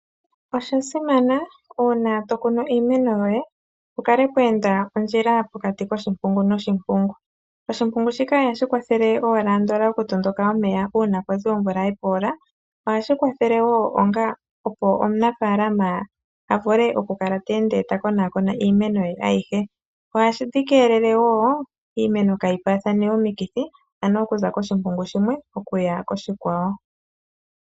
Osha simana uuna to kunu iimeno yoye pu kale pwa enda ondjila pokati koshimpungu noshimpungu. Oshimpungu shika ihashi kwathele owala andola oku tondoka omeya uuna kwazi omvula ye poola, ohashi kwathele wo onga opo omunafaalama a vule oku kala te ende ta konaakona iimeno ye ayihe. Ohadhi keelele wo iimeno kaayi paathane omikithi, ano okuza koshimpungu shimwe oku ya koshikwawo.